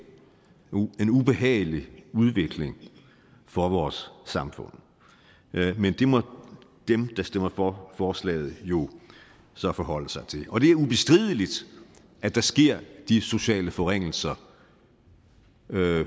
en ubehagelig udvikling for vores samfund men det må dem der stemmer for forslaget jo så forholde sig til og det er ubestrideligt at der sker de sociale forringelser